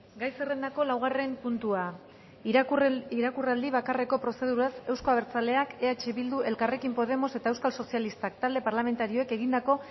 gai zerrendako laugarren puntua irakurraldi bakarreko prozeduraz euzko abertzaleak eh bildu elkarrekin podemos eta euskal sozialistak talde parlamentarioek egindako